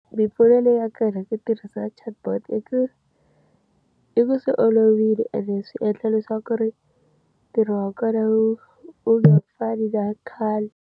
Mimpfuno leyi ya ku tirhisa chatbot i ku, i ku swi olovile ene swi endla leswaku ku ri ntirho wa kona wu wu nga fani na khale.